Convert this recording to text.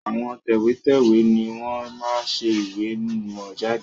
Àwọn tẹ̀wẹ́tẹ́wẹ́ ni wọn máa ń ṣe ìwé ìmọ̀ jáde